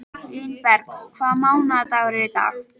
Línberg, hvaða mánaðardagur er í dag?